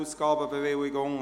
Ausgabenbewilligung;